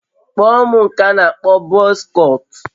Kpụọ m nke a n'akpọ bọz kọtụ